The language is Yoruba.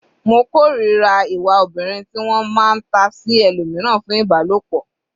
Mo kòrira ìwà obìnrin ti wọ́n máa ta sí ẹlòmíràn fún Ìbálòpọ̀.